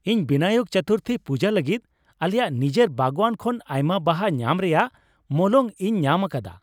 ᱤᱧ ᱵᱤᱱᱟᱭᱚᱠ ᱪᱚᱛᱩᱨᱛᱷᱤ ᱯᱩᱡᱟᱹ ᱞᱟᱹᱜᱤᱫ ᱟᱞᱮᱭᱟᱜ ᱱᱤᱡᱮᱨ ᱵᱟᱜᱣᱟᱱ ᱠᱷᱚᱱ ᱟᱭᱢᱟ ᱵᱟᱦᱟ ᱧᱟᱢ ᱨᱮᱭᱟᱜ ᱢᱚᱞᱚᱝ ᱤᱧ ᱧᱟᱢ ᱟᱠᱟᱫᱟ ᱾